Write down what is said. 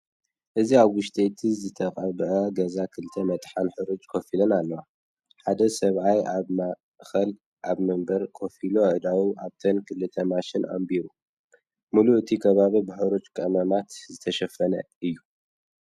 እዚ ኣብ ውሽጢ እቲ ዝተቐብአ ገዛ ክልተ መጥሓን ሕርጭ ኮፍ ኢለን ኣለዋ። ሓደ ሰብኣይ ኣብ ማእከል ኣብ መንበር ኮፍ ኢሉ ኣእዳዉ ኣብተን ክልተ ማሽናት ኣንቢሩ። ምሉእ እቲ ከባቢ ብሕርጭ ቀመማት ዝተሸፈነ እዩ።